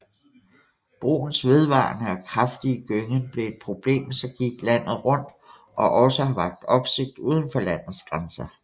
Broens vedvarende og kraftige gyngen blev et problem som gik landet rundt og også har vakt opsigt udenfor landets grænser